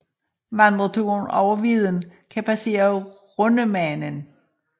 Vandreturen over Vidden kan passere Rundemanen